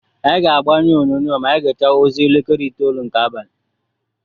Anyị ga-agbanyụ onyonyo ma anyị gechaa ozi elekere itolu nke abalị.